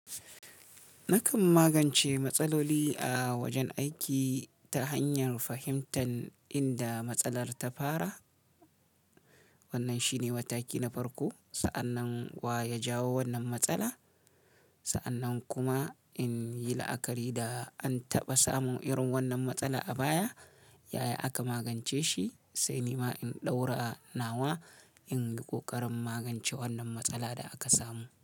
Nakan magance matsaloli a wajen aiki ta hanyar fahimtar inda matsalar ta fara. Wannan shine mataki na farko sa'annan wa ya jawo wannan matsala. Sa'annan kuma in yi la'akari da an taɓa samun irin wannan matsala a baya, yaya aka magance shi, sai ni ma in ɗaura nawa in yi ƙoƙarin magance wannan matsala da aka samu.